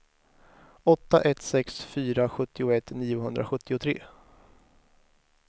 åtta ett sex fyra sjuttioett niohundrasjuttiotre